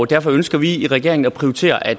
derfor ønsker vi i regeringen at prioritere at